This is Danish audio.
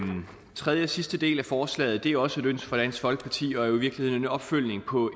den tredje og sidste del af forslaget er også et ønske fra dansk folkeparti og jo i virkeligheden en opfølgning på